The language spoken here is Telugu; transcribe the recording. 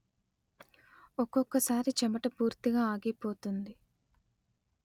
ఒక్కొక్కసారి చెమట పూర్తిగా ఆగిపోతుంది